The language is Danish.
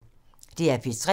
DR P3